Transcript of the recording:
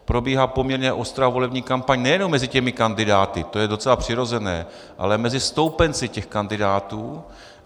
Probíhá poměrně ostrá volební kampaň nejenom mezi těmi kandidáty, to je docela přirozené, ale mezi stoupenci těch kandidátů.